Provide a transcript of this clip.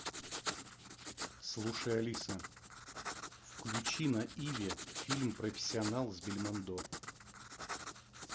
слушай алиса включи на иви фильм профессионал с бельмондо